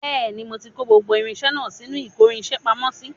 Bẹẹni, mo ti kó gbogbo irinṣẹ́ náà sínú ìkórinṣẹ́ pamọ́ sí